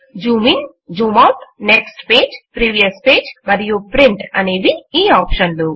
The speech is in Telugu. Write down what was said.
Zoom in zoom out next page previous page మరియు ప్రింట్ అనేవి ఈ ఆప్షన్లు